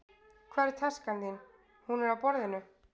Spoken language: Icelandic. Hvar er taskan þín? Hún er á borðinu.